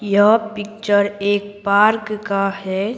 यह पिक्चर एक पार्क का है।